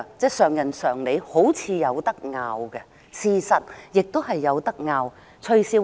這是人之常理，好像有爭議之處，也的確有爭議之處。